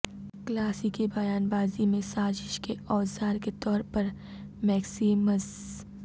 کلاسیکی بیان بازی میں سازش کے اوزار کے طور پر میکسیمز